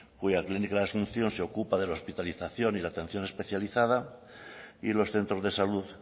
cuya clínica de la asunción se ocupa de la hospitalización y la atención especializada y los centros de salud